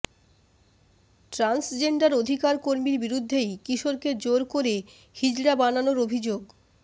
transgender অধিকারকর্মীর বিরুদ্ধেই কিশোরকে জোর করে হিজড়া বানানোর অভিযোগ